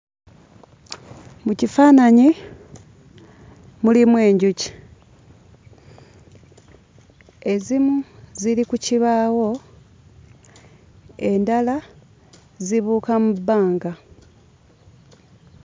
Mu kifaananyi mulimu enjuki. Ezimu ziri ku kibaawo, endala zibuuka mu bbanga.